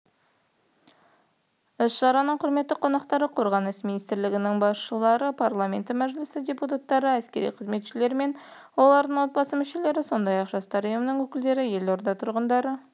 іс-шараның құрметті қонақтары қорғаныс министрлігінің басшылығы парламенті мәжілісінің депутаттары әскери қызметшілері мен олардың отбасы мүшелері сондай-ақ жастар ұйымының өкілдері елорда тұрғындары